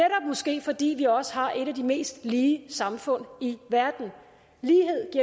måske fordi vi også har et af de mest lige samfund i verden lighed